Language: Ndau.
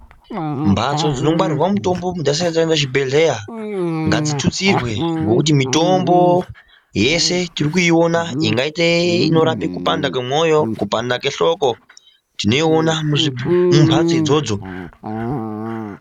Mbatso dzinongwarirwa mutombo muntu vasati aenda kuchibhedhleya, ngadzitutsirwe. Ngekuti mutombo tiri kuiona ingaite inorapa kupanda kwemwoyo, kupanda kwehloko tinoona mumbatso idzodzo.